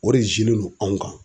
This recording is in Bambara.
O de do anw kan.